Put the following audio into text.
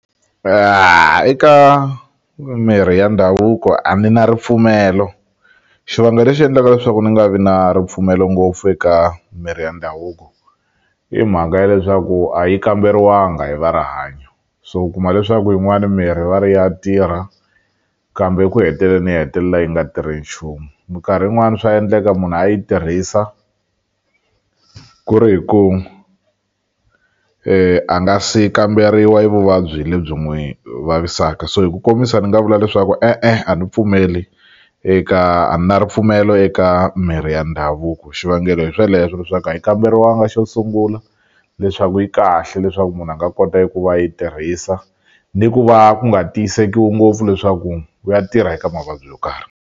Eka mirhi ya ndhavuko a ni na ripfumelo xivangelo lexi endlaka leswaku ni nga vi na ripfumelo ngopfu eka mirhi ya ndhavuko i mhaka ya leswaku a yi kamberiwanga hi va rihanyo so u kuma leswaku yin'wani mirhi va ri ya tirha kambe eku heteleni yi hetelela yi nga tirhi nchumu minkarhi yin'wani swa endleka munhu a yi tirhisa ku ri hi ku a nga si kamberiwa e vuvabyi lebyi n'wi vavisaka so hi ku komisa ni nga vula leswaku e-e a ni pfumeli eka a ni na ripfumelo eka mirhi ya ndhavuko xivangelo hi sweleswo leswaku a yi kamberiwanga xo sungula leswaku yi kahle leswaku munhu a nga kota eku va a yi tirhisa ni ku va ku nga tiyisekiwi ngopfu leswaku ku ya tirha eka mavabyi yo karhi.